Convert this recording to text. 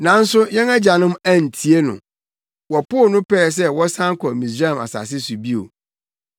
“Nanso yɛn agyanom antie no. Wɔpoo no pɛɛ sɛ wɔsan kɔ Misraim asase so bio.